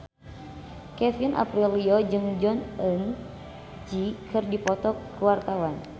Kevin Aprilio jeung Jong Eun Ji keur dipoto ku wartawan